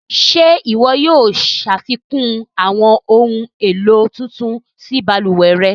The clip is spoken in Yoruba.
Ṣẹ iwọ yóò ṣafikun awọn ohun elo tuntun sí baluwẹ̀ rẹ̀?